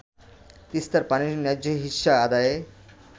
তিস্তার পানির ন্যায্য হিস্যা আদায়ে